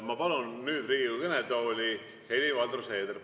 Ma palun nüüd Riigikogu kõnetooli Helir-Valdor Seederi.